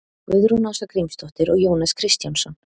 Guðrún Ása Grímsdóttir og Jónas Kristjánsson.